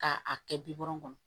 K'a kɛ birɔkun kɔnɔ